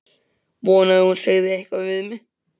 Vonaði að hún segði eitthvað við mig.